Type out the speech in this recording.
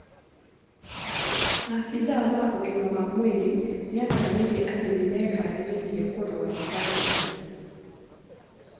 Abithaa wa ũgima mwega wa mwĩrĩ atarĩirie atĩ nĩmeharĩirie kũrũa na vairasi